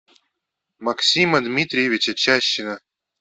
максима дмитриевича чащина